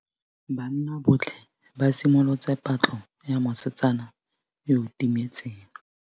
Banna botlhê ba simolotse patlô ya mosetsana yo o timetseng.